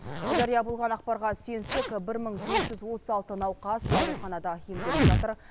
жария болған ақпарға сүйенсек бір мың бес жүз отыз алты науқас ауруханада емделіп жатыр